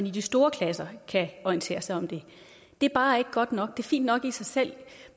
i de store klasser kan orientere sig om det det er bare ikke godt nok det er fint nok i sig selv